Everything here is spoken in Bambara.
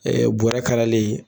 Ɛɛ bɔrɛ kalalen